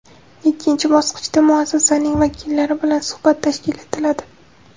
Ikkinchi bosqichda – muassasaning vakillari bilan suhbat tashkil etiladi.